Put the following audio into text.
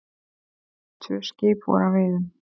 Tvö skip voru að veiðum.